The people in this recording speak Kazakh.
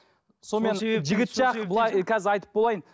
қазір айтып болайын